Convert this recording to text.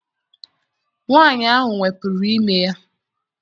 Nwaanyị ahụ wepụrụ ime ya.